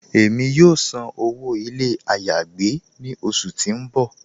Ẹ̀mi yóò sàn owó ilẹ̀ ayé-agbè ni ọṣù tí n bọ́.